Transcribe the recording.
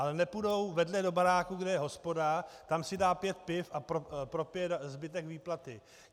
Ale nepůjdou vedle do baráku, kde je hospoda, tam si dá pět piv a propije zbytek výplaty.